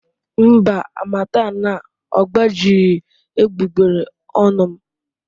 Mba, harmattan agbajighị egbugbere ọnụ m.